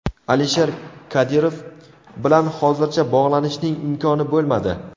Alisher Kadirov bilan hozircha bog‘lanishning imkoni bo‘lmadi.